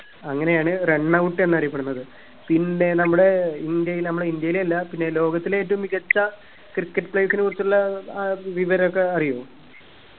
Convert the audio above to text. അങ്ങനെ ആണ് run out എന്നറിയപ്പെട്ടുന്നത് പിന്നെ നമ്മടെ ഇന്ത്യയിൽ നമ്മുടെ ഇന്ത്യയിലില്ല പിന്നെ ലോകത്തിലെ ഏറ്റവും മികച്ച cricket players നെ കുറിച്ചുള്ള ഏർ വിവരൊക്കെ അറിയോ